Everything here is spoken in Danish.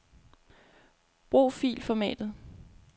Brug filformat.